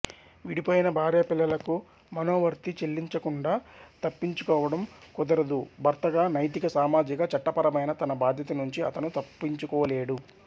విడిపోయిన భార్యాపిల్లలకు మనోవర్తి చెల్లించకుండా తప్పించుకోవడం కుదరదు భర్తగా నైతిక సామాజిక చట్టపరమైన తన బాధ్యత నుంచి అతను తప్పించుకోలేడు